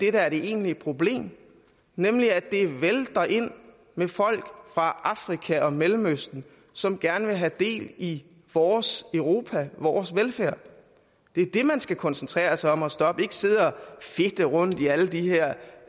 er det egentlige problem nemlig at det vælter ind med folk fra afrika og mellemøsten som gerne vil have del i vores europa vores velfærd det er det man skal koncentrere sig om at stoppe ikke sidde og fedte rundt i alle de her